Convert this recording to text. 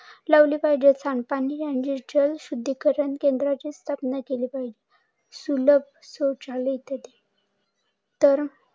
लावली पाहिजे. सांडपाणी शुद्धीकरण केंद्राची स्थापना केली पाहिजे. सुलभ शौचालय इतर